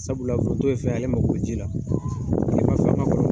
Sabula foronto ye fɛn ye, ale ma go bɛ ji la, kilema fɛ